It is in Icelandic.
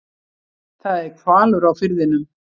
Það er hvalur á firðinum.